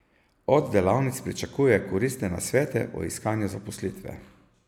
Od delavnic pričakuje koristne nasvete o iskanju zaposlitve.